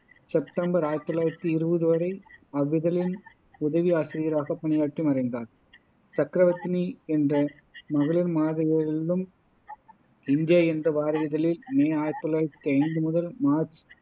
September ஆயிரத்தி தொள்ளாயிரத்தி இருவது வரை அவ்விதழின் உதவி ஆசிரியராகப் பணியாற்றி மறைந்தார் சக்கரவர்த்தினி என்ற மகளிர் மாத இதழிலும் இந்தியா என்ற வார இதழில் மே ஆயிரத்தி தொள்ளாயிரத்தி ஐந்து முதல் மார்ச்